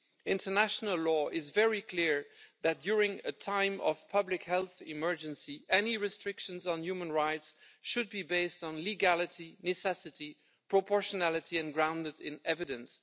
International law is very clear that during a time of public health emergency, any restrictions on human rights should be based on legality, necessity, proportionality and grounded in evidence.